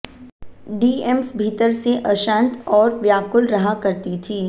DMs भीतर से अशांत और व्याकुल रहा करती थीं